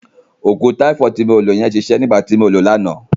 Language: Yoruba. Òògùn táífọ̀dù ti mo lo yẹn ṣiṣẹ́ nígbà tí mo lòó lánàá.